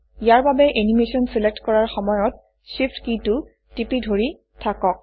ইয়াৰ বাবে animation select কৰাৰ সময়ত Shift কীটো টিপি ধৰি থাকক